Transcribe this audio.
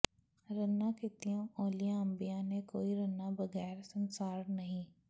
ਰੰਨਾਂ ਕੀਤੀਆਂ ਔਲੀਆਂ ਅੰਬੀਆਂ ਨੇ ਕੋਈ ਰੰਨਾਂ ਬਗ਼ੈਰ ਸੰਸਾਰ ਨਾਹੀਂ